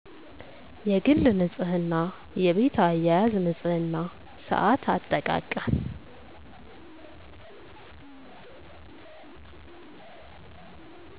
የግል ንፅህና የቤት አያያዝ ንፅህና ሳአት አጠቃቀም